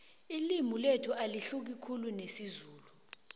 ililmi lethu alahluki khulu nesizulu